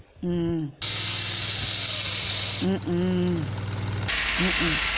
உம் உம் உம் உம் உம் உம் உம்